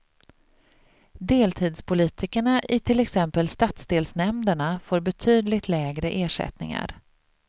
Deltidspolitikerna i till exempel stadsdelsnämnderna får betydligt lägre ersättningar.